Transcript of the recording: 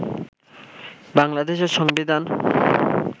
বাংলাদেশের সংবিধান